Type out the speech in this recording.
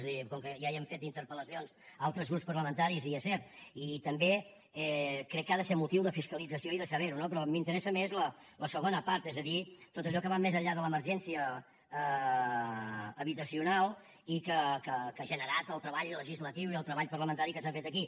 és a dir com que ja li han fet interpel·lacions altres grups parlamentaris i és cert i també crec que ha de ser motiu de fiscalització i de saber ho no però m’interessa més la segona part és a dir tot allò que va més enllà de l’emergència habitacional i que ha generat el treball legislatiu i el treball parlamentari que s’ha fet aquí